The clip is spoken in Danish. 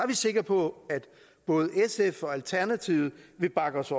vi sikre på at både sf og alternativet vil bakke os